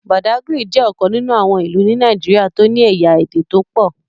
Bàdágìrì jẹ́ ọ̀kan nínú àwọn ìlú ni Nàìjíríà tó ní ẹ̀yà Ède tó pọ̀.